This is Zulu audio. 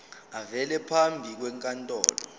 avele phambi kwenkantolo